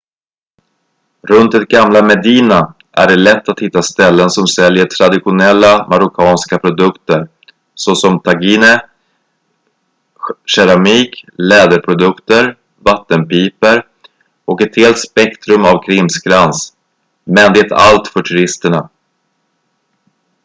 runt det gamla medina är det lätt att hitta ställen som säljer traditionella marockanska produkter såsom tagine keramik läderprodukter vattenpipor och ett helt spektrum av krimskrams men det allt för turisterna